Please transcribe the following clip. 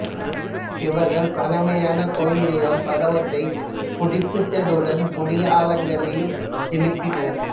இவர்கள் பழைமையான கோயில்கள் பலவற்றை புதுப்பித்ததுடன் புதிய ஆலயங்களையும் எழுப்பியுள்ளனர்